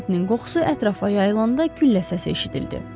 Can ətinin qoxusu ətrafa yayılanda güllə səsi eşidildi.